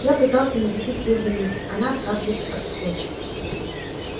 я пытался навестить её в больнице она отказывается от встречи